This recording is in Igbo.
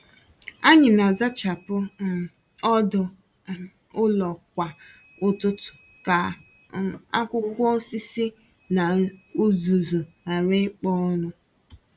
Ànyị na-azachapụ um ọdụ um ụlọ kwa ụtụtụ ka um akwụkwọ osisi na uzuzu ghara ịkpo ọnụ.